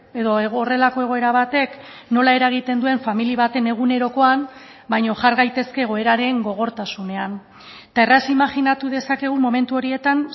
edo horrelako egoera batek nola eragiten duen familia baten egunerokoan baina jar gaitezke egoeraren gogortasunean eta erraz imajinatu dezakegu momentu horietan